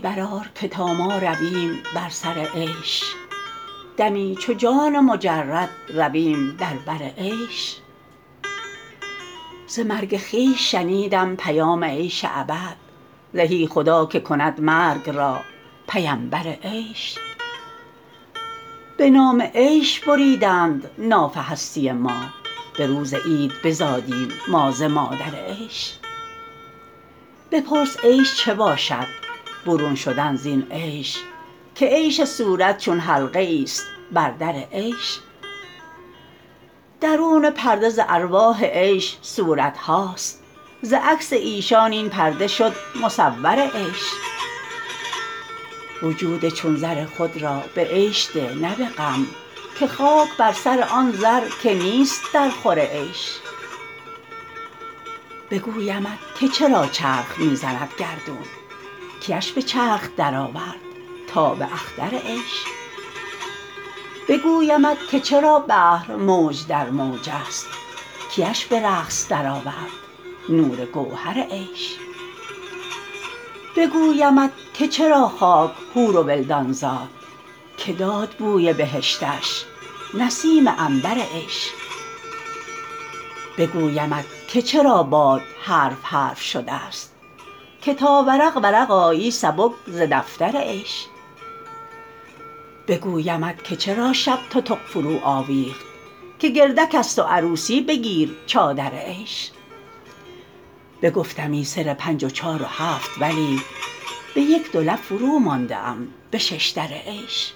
برآر که تا ما رویم بر سر عیش دمی چو جان مجرد رویم در بر عیش ز مرگ خویش شنیدم پیام عیش ابد زهی خدا که کند مرگ را پیمبر عیش به نام عیش بریدند ناف هستی ما به روز عید بزادیم ما ز مادر عیش بپرس عیش چه باشد برون شدن زین عیش که عیش صورت چون حلقه ایست بر در عیش درون پرده ز ارواح عیش صورت هاست ز عکس ایشان این پرده شد مصور عیش وجود چون زر خود را به عیش ده نه به غم که خاک بر سر آن زر که نیست درخور عیش بگویمت که چرا چرخ می زند گردون کیش به چرخ درآورد تاب اختر عیش بگویمت که چرا بحر موج در موجست کیش به رقص درآورد نور گوهر عیش بگویمت که چرا خاک حور و ولدان زاد که داد بوی بهشتش نسیم عنبر عیش بگویمت که چرا باد حرف حرف شدست که تا ورق ورق آیی سبک ز دفتر عیش بگویمت که چرا شب تتق فروآویخت که گرد کست و عروسی بگیرد جا در عیش بگفتمی سر پنج و چهار و هفت ولیک به یک دو لعب فرومانده ام به شش در عیش